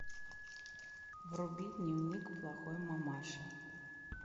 вруби дневник плохой мамаши